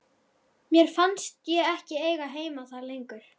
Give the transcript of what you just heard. Mér fannst ég ekki eiga heima þar lengur.